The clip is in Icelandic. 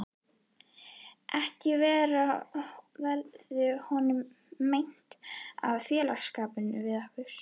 Ekki verður honum meint af félagsskap við okkur!